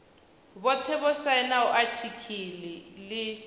vhothe vho sainaho atiki ḽi